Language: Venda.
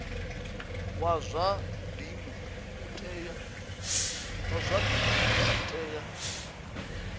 wa zwa dzinnu u tea